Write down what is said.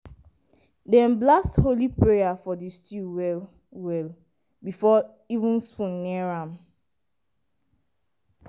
dem blast holy prayer for di stew well-well before even spoon near am.